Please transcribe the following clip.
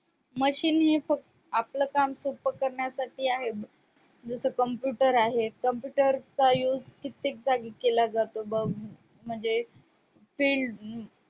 machine हे आपलं काम सोप्प करण्यासाठी आहे जस computer आहेत computer चा use कित्येक जागी केला जातो बघ म्हणजे field